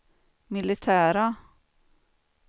militära